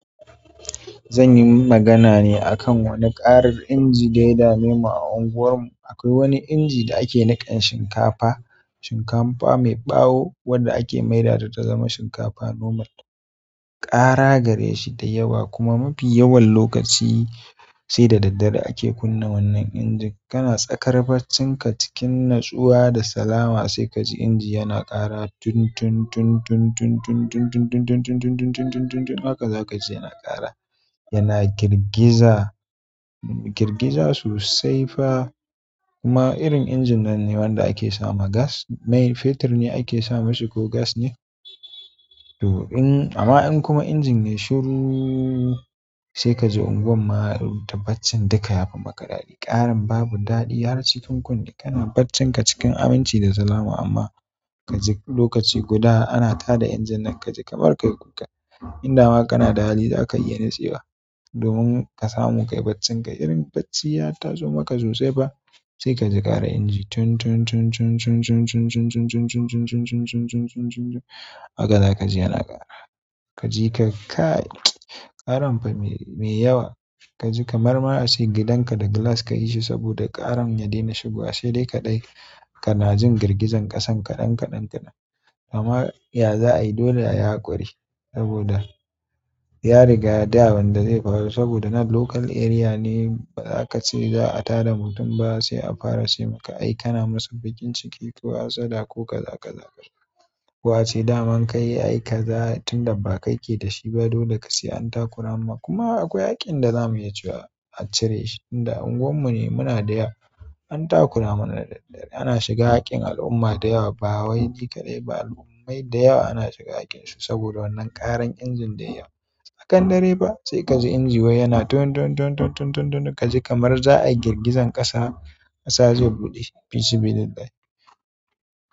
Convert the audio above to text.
Zan yi magana ne a kan wani ƙarar inji da ya damemu a unguwarmu. Akwai wani inji da ake niƙan shinkafa, shinkafa mai ɓawo wadda ake maida ta ta zama shinkafa normal. Ƙara gare shi da yawa kuma mafi yawan lokaci sai da daddare ake kunna wannan inji. Kana tsakar baccinka cikin natsuwa da salama sai ka ji inji yana ƙara tun, tun, tun, tun, tun, tun, tun, tun, tun, tun, tun, tun, tun, tun, tun, tun, haka za ka ji yana ƙara. Yana girgiza, girgiza sosai fa, kuma irin injin nan ne wanda ake sa ma gas. Mai fetur ne ake sa mashi ko gas ne. To in amma in kuma injin yayi shiru, sai kaji unguwanma baccin duka yafi maka daɗi ƙaran babu daɗi, har cikin kunne, kana baccinka cikin aminci da salama amma ka ji lokaci guda ana tada injin nan ka ji kamar ka kuka. Inda ma kana da hali za ka yi yanayi tsiba domin ka samu ka yi baccinka irin bacci ya taso maka sosai fa sai ka ji ƙara inji tun, tun, tun, tun, tun, tun, tun, tun, tun, tun, tun, tun, tun, tun, tun, tun, tun, haka za ka ji yana ƙara. Ka ji ka kai ƙaran fa me yawa ka ji kamar ma ace gidan ka da glass ka yi shi saboda karan ya daina shigowa sai dai kaɗai kana jin girgizan ƙasan kaɗan kaɗan kaɗan. Amma ya za a yi dole a yi haƙuri saboda ya riga da wanda zai faru saboda na local area ne ba za ka ce za a tada mutum ba sai a fara ce maka aika na masa baƙin ciki ko hassada ko kaza kaza ko ace daman ka yi ai ka za tun da ba kai ke da shi ba dole ka sayi an takura ma kuma akwai haƙƙin da za mu yi cewa a cire shi inda unguwar mu ne muna da ya an takura mana da, ana shiga haƙƙin al'umma da yawa ba wai jekaɗai ba al'ummai da yawa ana shiga haƙƙin su saboda wannan ƙaran injin da yawa. Tsakan dare fa sai kaji inji wai yana tun, tun, tun, tun kaji kamar za ayi girgizan ƙasa kasa zai buɗe fi sa bi lillahi.